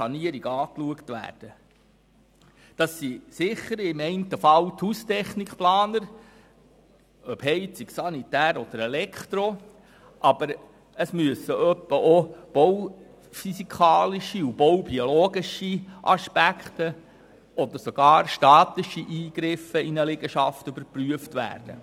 Im einen Fall sind das sicher die Haustechnikplaner – ob Heizung, Sanitär oder Elektro, aber es müssen auch bauphysikalische und baubiologische Aspekte oder sogar statische Eingriffe in eine Liegenschaft überprüft werden.